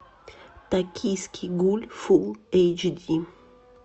токийский гуль фул эйч ди